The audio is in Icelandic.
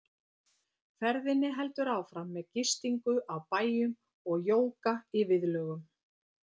Ferðinni heldur áfram með gistingu á bæjum og jóga í viðlögum.